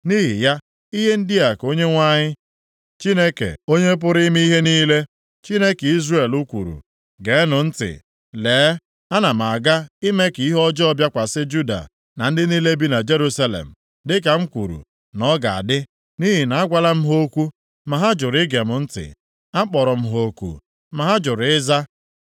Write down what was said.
“Nʼihi ya, ihe ndị a ka Onyenwe anyị Chineke Onye pụrụ ime ihe niile, Chineke Izrel kwuru: ‘Geenụ ntị! Lee, ana m aga ime ka ihe ọjọọ bịakwasị Juda na ndị niile bi na Jerusalem, dịka m kwuru na ọ ga-adị. Nʼihi na agwala m ha okwu, ma ha jụrụ ige m ntị. Akpọrọ m ha oku, ma ha jụrụ ịza.’ ”